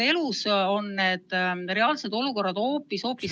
Elus on reaalsed olukorrad hoopis-hoopis ...